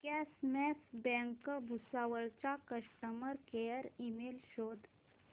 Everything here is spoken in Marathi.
कॉसमॉस बँक भुसावळ चा कस्टमर केअर ईमेल शोध